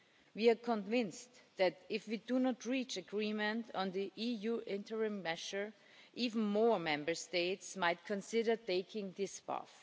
We are convinced that, if we do not reach agreement on the EU interim measure, even more Member States might consider taking this path.